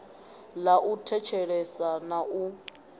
ḽa u thetshelesa na u